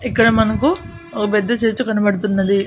ఇక్కడ మనకు ఓ పెద్ద చర్చ్ కనబడుతున్నది.